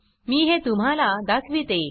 मी हे तुम्हाला दाखविते